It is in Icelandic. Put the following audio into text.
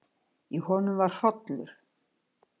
Í honum var hrollur.